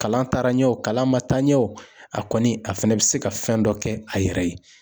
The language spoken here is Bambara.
Kalan taara ɲɛ o kalan ma taa ɲɛ o a kɔni bɛ se ka fɛn dɔ kɛ a yɛrɛ ye.